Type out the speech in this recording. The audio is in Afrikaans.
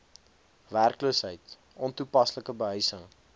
werkloosheid ontoepaslike behuising